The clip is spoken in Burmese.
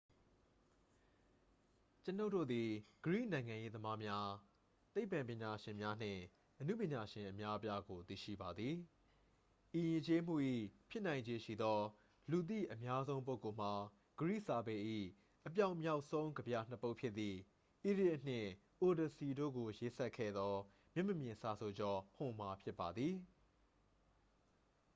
ကျွန်ုပ်တို့သည် ဂရိနိုင်ငံရေးသမားများ သိပ္ပံပညာရှင်များ နှင့် အနုပညာရှင်အများအပြားကို သိရှိပါသည် ဤယဉ်ကျေးမှု၏ ဖြစ်နိုင်ခြေရှိသော လူသိအများဆုံးပုဂ္ဂိုလ်မှာ ဂရိစာပေ၏ အပြောင်မြောက်ဆုံးကဗျာနှစ် ပုဒ်ဖြစ်သည့် iliad နှင့် odyssey တို့ကိုရေးစပ်ခဲ့သော မျက်မမြင်စာဆိုကျော် homer ဖြစ်ပါသည်